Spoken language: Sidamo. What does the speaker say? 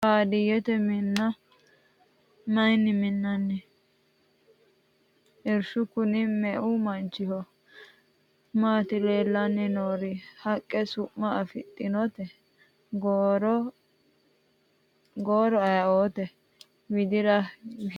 Baadiyeette Minna mayiinni minnoonni? Irishu kunni meu manchiho? Maatti leelanni noori? Haqqe su'ma afidhinnotte? Gooro ayiiootte? Widira widiidi mamaatti? Horose maati?